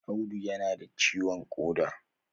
Audu ya na da ciwon koda